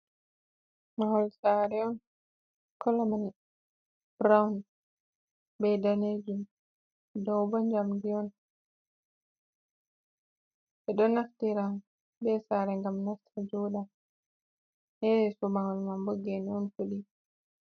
Mahol saare on, kolo man burawun ba daneejum, dow bo njamndi on. Ɓe ɗo naftira be saare ngam nasta jooɗa. Her yeeso mahol man bo geene on fuɗi.